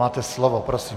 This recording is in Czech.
Máte slovo, prosím.